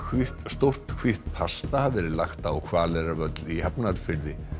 stórt hvítt pasta hafi verið lagt á Hvaleyrarvöll í Hafnarfirði